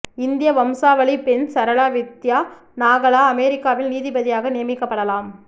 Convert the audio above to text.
இந்திய வம்சாவளி பெண் சரளா வித்யா நாகலா அமெரிக்காவில் நீதிபதியாக நியமிக்கப்படலாம்